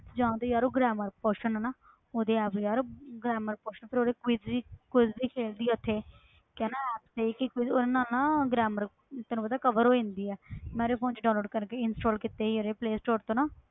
ਜਾਂ ਤੇ ਯਾਰ ਉਹ grammar portion ਆ ਨਾ ਉਹਦੇ apps ਯਾਰ grammar portion ਫਿਰ ਉਹਦੇ quiz ਵੀ quiz ਵੀ ਖੇਲਦੀ ਆ ਉੱਥੇ ਕੀ ਆ ਨਾ ਉਹਦੇ ਨਾਲ ਨਾ grammar ਤੈਨੂੰ ਪਤਾ cover ਹੋ ਜਾਂਦੀ ਆ ਮੈਂ ਉਹਦੇ phone 'ਚ download ਕਰਕੇ install ਕੀਤੀ ਸੀ ਉਹਦੇ play store ਤੋਂ ਨਾ